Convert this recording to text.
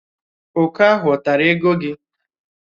Òkè ahụ ọ̀ tara ego gị?